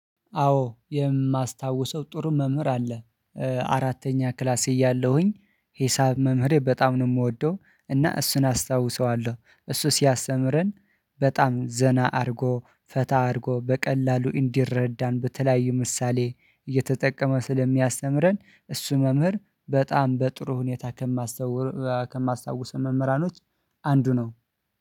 አዎ የማስታውሰው ጥሩ መምህር አለ አራተኛ ክላስ እያለሁኝ ሂሳብ መምህሬ በጣም ነው የምወደው እና እሱን አስታውሰዋለው እሱ ሲያስተምረን በጣም ዘና አድርጎ ፈታ አድርጎ በቀላሉ እንዲረዳን በተለያዩ ምሳሌ እየተጠቀመ ስለሚያስተምረን እሱን መምህር በጣም በጥሩ ሁኔታ። ከማስታውሰው መምህራኖች አንዱ ነው